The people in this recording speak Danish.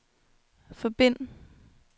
forbind